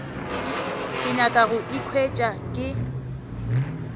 ke nyaka go ikhwetša ke